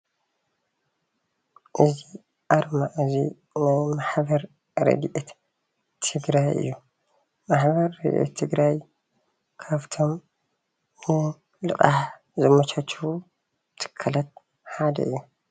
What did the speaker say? እዚ ኣርማ እዚ ናይ ማሕበር ረዲኤት ትግራይ እዩ፡፡ ማሕበር ረዲኤት ትግራይ ካብቶም ንልቃሕ ዘመቻችዉ ትካላት ሓደ እዩ፡፡